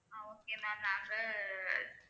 ஆஹ் okay ma'am நாங்க